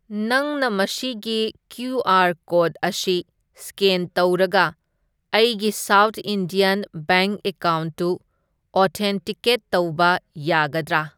ꯅꯪꯅ ꯃꯁꯤꯒꯤ QR. Code ꯑꯁꯤ ꯁ꯭ꯀꯦꯟ ꯇꯧꯔꯒ ꯑꯩꯒꯤ ꯁꯥꯎꯊ ꯏꯟꯗꯤꯌꯟ ꯕꯦꯡꯛ ꯑꯦꯀꯥꯎꯟꯠꯇꯨ ꯑꯣꯊꯦꯟꯇꯤꯀꯦꯠ ꯇꯧꯕ ꯌꯥꯒꯗ꯭ꯔꯥ?